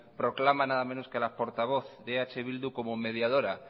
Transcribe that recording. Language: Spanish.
proclama nada menos que a la portavoz de eh bildu como mediadora